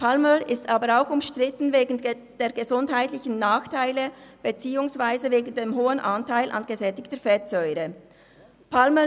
Palmöl ist aber auch wegen der gesundheitlichen Nachteile beziehungsweise wegen dem hohen Anteil an gesättigten Fettsäuren umstritten.